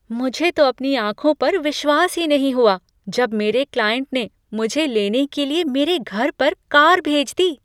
मुझे तो अपनी आँखों पर विश्वास ही नहीं हुआ जब मेरे क्लाइंट ने मुझे लेने के लिए मेरे घर पर कार भेज दी।